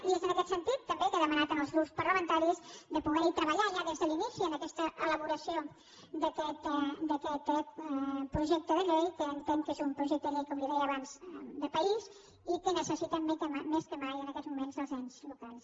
i és en aquest sentit també que he demanat als grups parlamentaris de poder hi treballar ja des de l’inici en aquesta elaboració d’aquest projecte de llei que entenc que és un projecte de llei com li deia abans de país i que necessiten més que mai en aquests moments els ens locals